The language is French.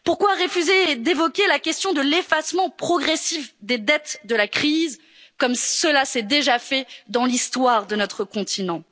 d'Angleterre? Pourquoi refuser d'évoquer la question de l'effacement progressif des dettes de la crise, comme cela s'est déjà fait dans l'histoire de notre